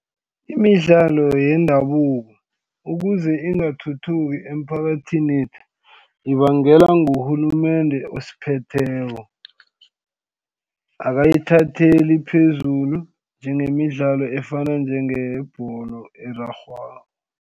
Imidlalo yendabuko ukuze ingathuthuki emphakathinethu ibangela ngurhulumende osiphetheko akayithatheli phezulu njengemidlalo efana njengeyebholo erarhwako.